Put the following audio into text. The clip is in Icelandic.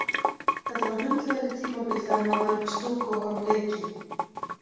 Þetta var hundleiðinlegt tímabil þegar maður var uppi í stúku að horfa á leiki.